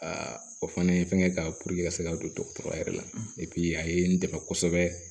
o fana ye fɛngɛ k'a ka se ka don dɔgɔtɔrɔya yɛrɛ la a ye n dɛmɛ kosɛbɛ